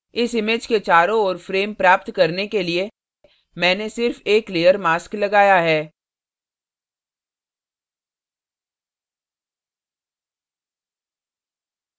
इस image के चारों ओर frame प्राप्त करने के लिए मैंने सिर्फ एक layer mask लगाया है